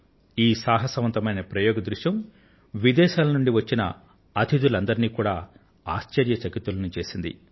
ఈ సాహసవంతమైన ప్రయోగ దృశ్యం విదేశాల నుండి వచ్చిన అతిధులందరినీ కూడా ఆశ్చర్య చకితులను చేసింది